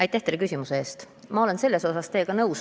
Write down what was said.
Aitäh teile küsimuse eest!